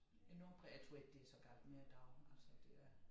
Enormt præget jeg tror ikke det så galt mere i dag altså det er